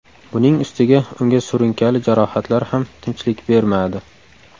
Buning ustiga unga surunkali jarohatlar ham tinchlik bermadi.